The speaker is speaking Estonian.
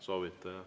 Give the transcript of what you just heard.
Soovite, jah.